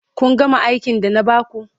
Kun gama aikin da na ba ku.